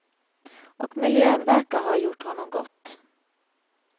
Och miljön verkar ha gjort honom gott.